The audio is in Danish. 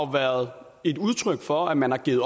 har været et udtryk for at man har givet